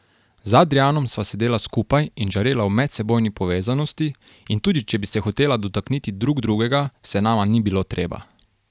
Z Adrijanom sva sedela skupaj in žarela v medsebojni povezanosti, in tudi če bi se hotela dotakniti drug drugega, se nama ni bilo treba.